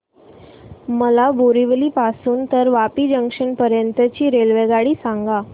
मला बोरिवली पासून तर वापी जंक्शन पर्यंत ची रेल्वेगाडी सांगा